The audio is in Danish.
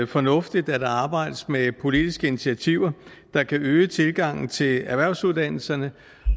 fornuftigt at der arbejdes med politiske initiativer der kan øge tilgangen til erhvervsuddannelserne